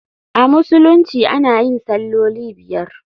A Musulunci ana yin salloli biyar.